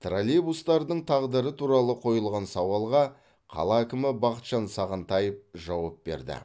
троллейбустардың тағдыры туралы қойылған сауалға қала әкімі бақытжан сағынтаев жауап берді